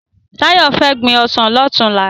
Tayo fè gbin òsán lòtúnlá